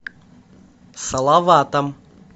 салаватом